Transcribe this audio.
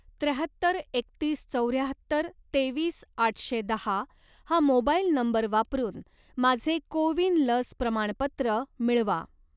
त्र्याहत्तर एकतीस चौऱ्याहत्तर तेवीस आठशे दहा हा मोबाईल नंबर वापरून माझे को विन लस प्रमाणपत्र मिळवा.